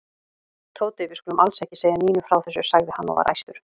Tóti, við skulum alls ekki segja Nínu frá þessu sagði hann og var æstur.